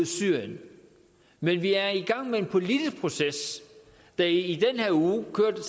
syrien men vi er i gang med en politisk proces der i den her uge kørte